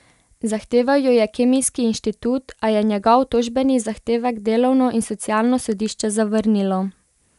Zahteval jo je Kemijski inštitut, a je njegov tožbeni zahtevek delovno in socialno sodišče zavrnilo.